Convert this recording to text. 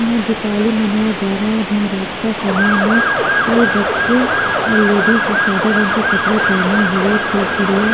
यहाँ दीपावली मनाया जा रहा हे जहाँ रात का समय में कई बच्चे और लेडिज सादा रंग के कपडे पहने हुए छुर - छुरिया --